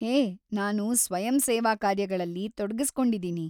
ಹೇ, ನಾನು ಸ್ವಯಂಸೇವಾಕಾರ್ಯಗಳಲ್ಲಿ ತೊಡಗಿಸ್ಕೊಂಡಿದೀನಿ.